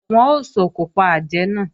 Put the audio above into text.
Wọ́n ó sòkò pa àjẹ́ náà